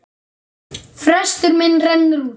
Frestur minn rennur út.